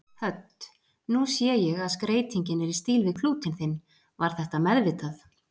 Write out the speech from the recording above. Hödd: Nú sé ég að skreytingin er í stíl við klútinn þinn, var þetta meðvitað?